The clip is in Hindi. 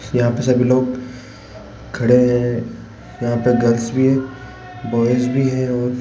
यहां पे सभी लोग खड़े हैं यहां पे गर्ल्स भी है बॉयज भी है और --